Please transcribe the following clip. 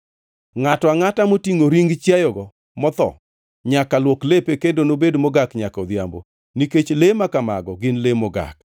Ngʼato angʼata motingʼo ring chiayogo motho nyaka luok lepe kendo nobed mogak nyaka odhiambo. Nikech le ma kamago gin le mogak.